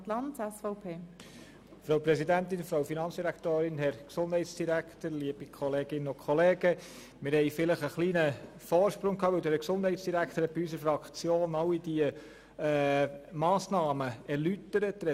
Wir hatten vielleicht einen kleinen Vorsprung, weil der Gesundheitsdirektor unserer Fraktion all diese Massnahmen erläutert hat.